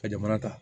Ka jamana ta